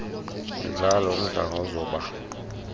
mdlalo umdlanga uzoba